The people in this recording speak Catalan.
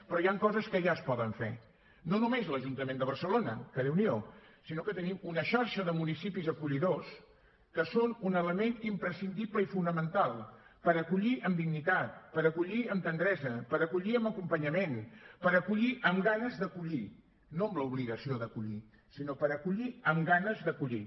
però hi han coses que ja es poden fer no només l’ajuntament de barcelona que déu n’hi do sinó que tenim una xarxa de municipis acollidors que són un element imprescindible i fonamental per acollir amb dignitat per acollir amb tendresa per acollir amb acompanyament per acollir amb ganes d’acollir no amb l’obligació d’acollir sinó per acollir amb ganes d’acollir